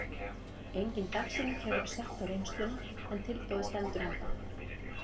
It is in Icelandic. Engin dagsetning hefur verið sett á reynsluna en tilboðið stendur ennþá.